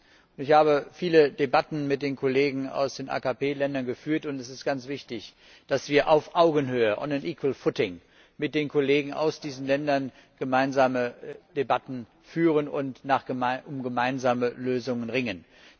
an. Ich habe viele Debatten mit den Kollegen aus den AKP Ländern geführt, und es ist ganz wichtig, dass wir auf Augenhöhe und mit den Kollegen aus diesen Ländern gemeinsame Debatten führen und um gemeinsame Lösungen ringen.